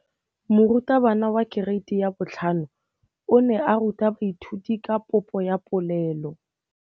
Moratabana wa kereiti ya 5 o ne a ruta baithuti ka popô ya polelô.